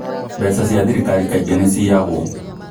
Mbeca cia thirikari kaingĩ nĩ ciiyagwo